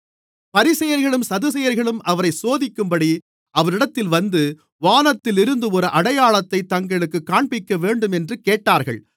பரிசேயர்களும் சதுசேயர்களும் அவரைச் சோதிக்கும்படி அவரிடத்தில் வந்து வானத்திலிருந்து ஒரு அடையாளத்தைத் தங்களுக்குக் காண்பிக்கவேண்டும் என்று கேட்டார்கள்